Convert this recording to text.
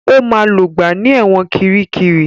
Ó máa lògbà ní ẹ̀wọ̀n Kiríkirì.